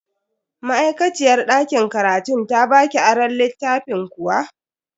Ma'aikaciyar dakin karatun ta baki aron littafin kuwa?